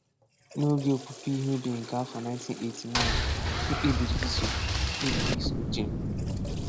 N’oge opupu ihe ubi nke afọ 1989, m kpebiri iso kpebiri iso uche m.